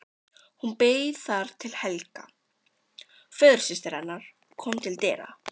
Hún beið þar til Helga, föðursystir hennar, kom til dyra.